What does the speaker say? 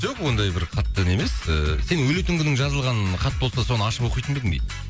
жоқ ондай бір хаттан емес ыыы сен өлетін күнің жазылған хат болса соны ашып оқитын ба едің дейді